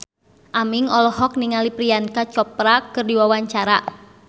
Aming olohok ningali Priyanka Chopra keur diwawancara